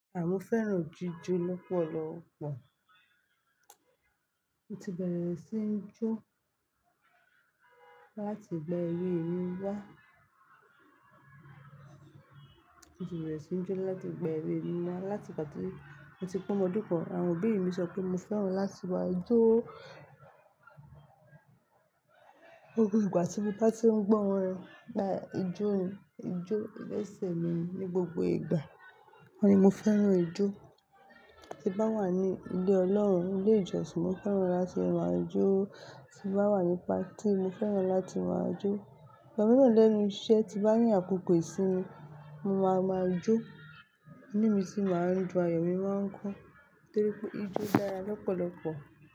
Mọ́ fẹ́ràn jíjó lọ́pọ̀lọpọ̀. Mo ti bẹ̀rẹ̀ sí n jó láti ìgbà ewe mi wá. Mo ti bẹ̀rẹ̀ sí ní jó láti ìgbà ewe mi láti ìgbà ti moti pe ọmọ ọdún kan. Àwọn òbí mi sọ pé mo fẹ́ràn láti máa jó gbogbo ìgbà, tí mo bá ti ń gbọ́ wọn gba ijó, ijó ìgbésẹ̀ mi ní gbogbo ìgbà. Wọ́n ni mo fẹ́ràn ijó. Tí bá wà ní ilé Ọlọ́run, ilé ìjọsìn, mo fẹ́ràn láti máa jó. Tí bá wà ní patí, mo fẹ́ràn láti máa jó. Ìbọn náà lẹ́nu iṣẹ́ ti bá ní àkókò ìsinmi, mo máa ma jó. Níbi tí mo máa ń jó, ayọ̀ mi máa ń kún torí pé ijó dára lọ́pọ̀lọpọ̀.